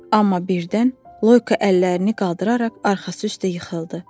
Amma birdən Loyko əllərini qaldıraraq arxası üstə yıxıldı.